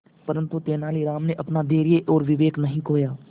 परंतु तेलानी राम ने अपना धैर्य और विवेक नहीं खोया